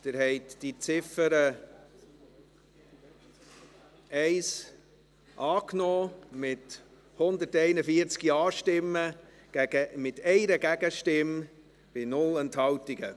Sie haben die Ziffer 1 angenommen, mit 141 Ja- gegen 1 Nein-Stimme bei 0 Enthaltungen.